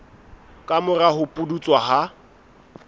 ka mora ho pudutsa ha